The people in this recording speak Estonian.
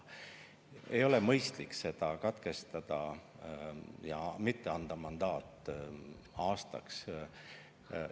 Ei ole mõistlik seda katkestada ja mitte anda aastaks mandaati.